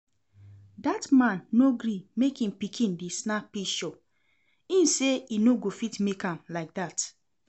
Dat man no gree make im pikin dey snap pishure, im say e no go fit make am like that